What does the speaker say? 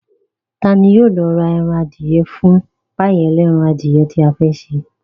Ta ní yóò lọ ra ẹran adìyẹ fún páì ẹlẹ́ran adìyẹ tí a fẹ́ ṣe